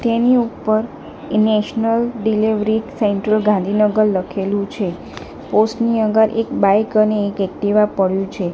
તેની ઉપર national delivery central Gandhinagar લખેલું છે પોસ્ટ ની આગળ એક બાઈક અને એક એક્ટિવા પડ્યું છે.